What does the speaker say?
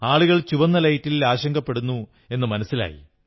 ആളുകൾ ചുവന്ന ലൈറ്റിൽ ആശങ്കപ്പെടുന്നതു മനസ്സിലായി